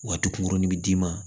Waati kunkuruni bɛ d'i ma